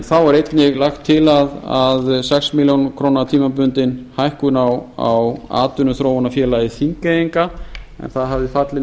þá er einnig lagt til að sex milljónir króna tímabundin hækkun á atvinnuþróunarfélagi þingeyinga en það hafði fallið